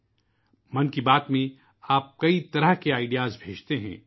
'' من کی بات '' میں آپ کئی طرح کے آئیڈیاز بھیجتے ہیں